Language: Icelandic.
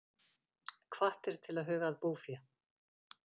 Hvattir til að huga að búfé